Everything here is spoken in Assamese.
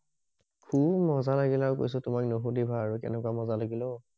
ফুৰি মজা লাগিল কৈছো তোমাক নুশুধিবা আৰু কেনেকুৱা মজা অও